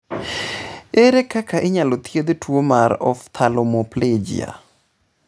Ere kaka inyalo thiedh tuwo mar ophthalmoplegia?